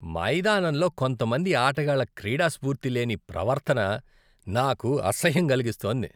మైదానంలో కొంతమంది ఆటగాళ్ళ క్రీడాస్పూర్తి లేని ప్రవర్తన నాకు అసహ్యం కలిగిస్తోంది.